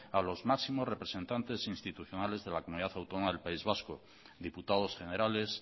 a los máximos representantes institucionales de la comunidad autónoma del país vasco diputados generales